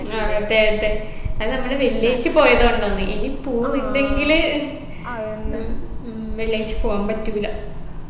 അതെ അതെ അത് നമ്മള് വെള്ളിയാഴ്ച പോയതോണ്ടാണ് ഇനി പോവുണ്ടെങ്കില് ഉം വെള്ളിയാഴ്ച പോവാൻ പറ്റൂല